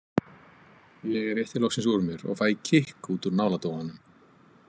Ég rétti loksins úr mér og fæ kikk út úr náladofanum.